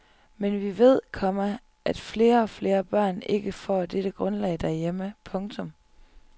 Men vi ved, komma at flere og flere børn ikke får dette grundlag derhjemme. punktum